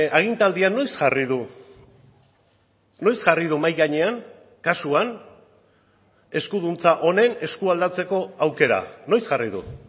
agintaldian noiz jarri du noiz jarri du mahai gainean kasuan eskuduntza honen eskualdatzeko aukera noiz jarri du